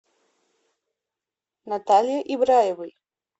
наталье ибраевой